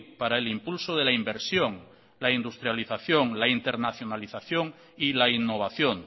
para el impulso de la inversión la industrialización la internacionalización y la innovación